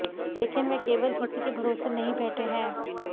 लेकिन वह केवल इसी के भरोसे नहीं बैठे हैं